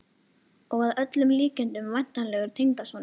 Og að öllum líkindum væntanlegur tengdasonur!